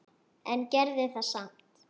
En gerði það samt.